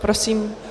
Prosím.